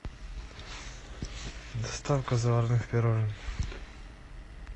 доставка заварных пирожен